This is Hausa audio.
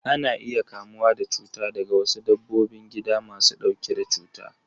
Ana iya kamuwa da cuta daga wasu dabbobin gida masu ɗauke da cuta.